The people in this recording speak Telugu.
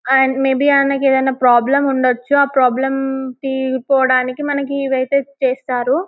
అండ్ మే బి ఆయనకు ఏదైనా ప్రాబ్లం ఉండొచ్చు ఆ ప్రాబ్లం తీరిపోవడానికి మనకు ఇవైతే చేస్తారు.